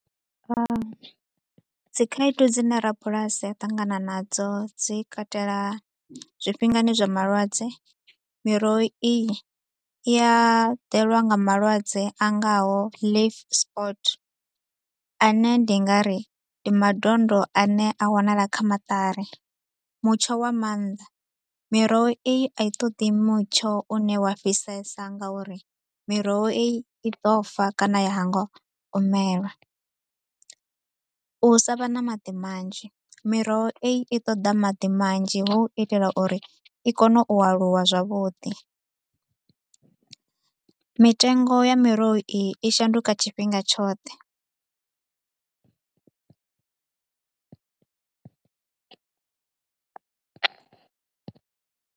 Dzi khaedu dzi ne rabulasi a ṱangana nadzo dzi katela zwifhingani zwa malwadze, miroho iyi i ya ḓelwa nga malwadze a ngaho leave sport a ne ndi nga ri ndi madondo a ne a wanala kha maṱari. Mutsho wa maanḓa, miroho iyi a i ṱoḓi mutsho u ne wa fhisesa nga uri miroho iyi i ḓo fa kana ya hangwa u mela u sa vha na maḓi manzhi, miroho iyi i ṱoḓa maḓi manzhi hu u itela uri i kone u aluwa zwavhuḓi. Mitengo ya miroho iyi i shanduka tshifhinga tshoṱhe.